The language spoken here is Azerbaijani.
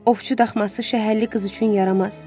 Ovçu daxması şəhərli qız üçün yaramaz.